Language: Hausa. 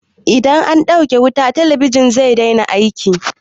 Idan an ɗauke wuta, talabijin zai daina aiki.